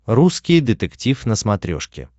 русский детектив на смотрешке